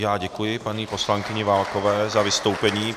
Já děkuji paní poslankyni Válkové za vystoupení.